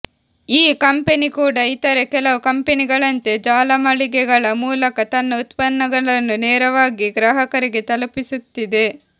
ಈ ಕಂಪೆನಿ ಕೂಡ ಇತರೆ ಕೆಲವು ಕಂಪೆನಿಗಳಂತೆ ಜಾಲಮಳಿಗೆಗಳ ಮೂಲಕ ತನ್ನ ಉತ್ಪನ್ನಗಳನ್ನು ನೇರವಾಗಿ ಗ್ರಾಹಕರಿಗೆ ತಲುಪಿಸುತ್ತಿದೆ